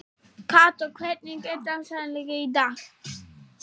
Kató, hvernig er dagskráin í dag?